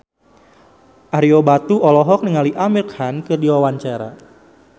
Ario Batu olohok ningali Amir Khan keur diwawancara